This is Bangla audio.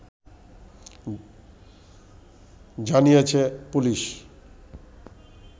জানিয়েছে পুলিশ